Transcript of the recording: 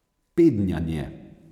Pednjanje.